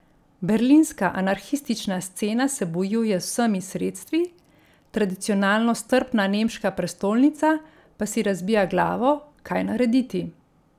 Berlinska anarhistična scena se bojuje z vsemi sredstvi, tradicionalno strpna nemška prestolnica pa si razbija glavo, kaj narediti.